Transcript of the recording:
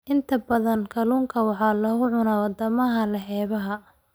Inta badan kalluunka waxaa lagu cunaa wadamada leh xeebaha.